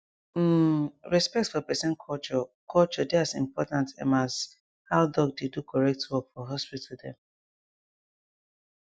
um respect for peson culture culture dey as important emas how doc dey do correct work for hospital dem